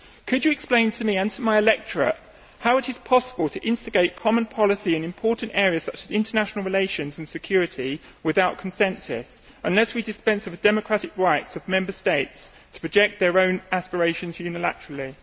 Could you explain to me and to my electorate how it is possible to instigate common policy in important areas, such as international relations and security, without consensus, unless we dispense with the democratic rights of Member States to project their own aspirations unilaterally?